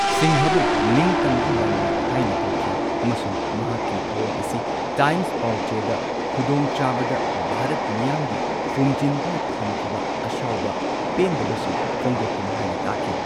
ꯁꯤꯡꯍꯕꯨ ꯅꯤꯡꯇꯝꯕꯒꯤ ꯂꯥꯟꯃꯤ ꯍꯥꯏꯅ ꯀꯧꯈꯤ ꯑꯃꯁꯨꯡ ꯃꯍꯥꯛꯀꯤ ꯊꯧꯑꯣꯡ ꯑꯁꯤ ꯇꯥꯏꯝꯁ ꯄꯥꯎꯆꯦꯗ ꯈꯨꯗꯣꯡꯆꯥꯕꯗ ꯚꯥꯔꯠ ꯃꯤꯌꯥꯝꯒꯤ ꯐꯨꯝꯖꯤꯟꯗꯨꯅ ꯊꯝꯈꯤꯕ ꯑꯁꯥꯎꯕ ꯄꯦꯟꯗꯕꯁꯤꯡ ꯐꯣꯡꯗꯣꯛꯄꯅꯤ ꯍꯥꯏꯅ ꯇꯥꯛꯈꯤ꯫